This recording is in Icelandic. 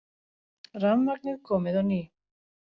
Rafmagnið komið á ný